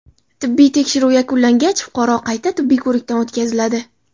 Tibbiy tekshiruv yakunlangach, fuqaro qayta tibbiy ko‘rikdan o‘tkaziladi.